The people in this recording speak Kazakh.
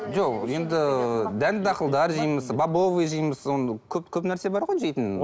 жоқ енді дәнді дақылдар жейміз бобовый жейміз оны көп көп нәрсе бар ғой жейтін